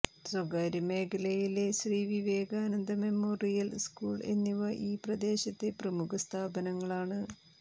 സ്വകാര്യ മേഖലയിലെ Shri Vivekananda memorial school എന്നിവ ഈ പ്രദേശത്തെ പ്രമുഖ സ്ഥാപനങ്ങളാണ്